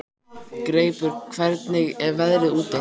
Greipur, hvernig er veðrið úti?